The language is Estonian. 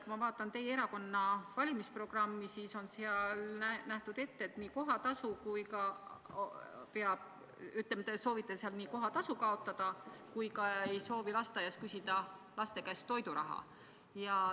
Kui ma vaatan teie erakonna valimisprogrammi, siis seal te soovite lasteaia kohatasu kaotada ja ei soovi ka toiduraha vanemate käest küsida.